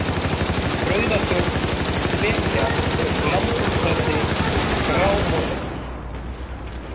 Rauðatjörn, Svekja, Lambhúshöfði, Grámosagil